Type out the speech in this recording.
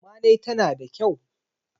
amma dai tana da kyau